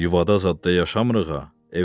Yuvada zadda yaşamırıq ha,